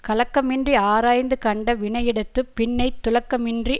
கலக்கமின்றி ஆராய்ந்துகண்ட வினையிடத்துப் பின்னைத் துளக்கமின்றி